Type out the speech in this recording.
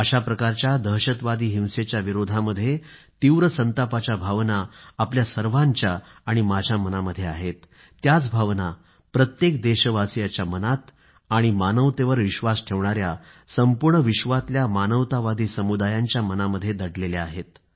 अशा प्रकारच्या दहशतवादी हिंसेच्या विरोधामध्ये तीव्र संतापाच्या भावना आपल्या सर्वांच्या आणि माझ्या मनामध्ये आहेत त्याच भावना प्रत्येक देशवासियाच्या मनात आणि मानवतेवर विश्वास ठेवणाया संपूर्ण विश्वातल्या मानवतावादी समुदायांच्या मनामध्ये दडलेल्या आहेत